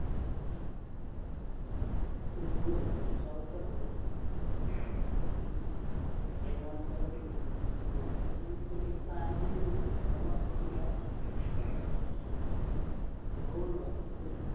ഇണ്ട് കൊറച്ചു ആൾക്കാരെ ഇള്ളു ഏർ ആൾക്കാരൊക്കെയാ ഇള്ളു ഉം ചെറിയൊരു plan ചെയ്തിക്കുണു എവിടേക്കാണെന്ന് ഉറപ്പിച്ചിട്ടില്ല ഏർ ഇങ്ങള് പോനിണ്ട trip